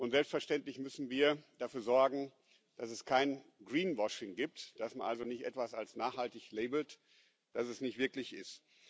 Und selbstverständlich müssen wir dafür sorgen, dass es kein Greenwashing gibt, dass man also nicht etwas als nachhaltig labelt, das es ist nicht wirklich ist.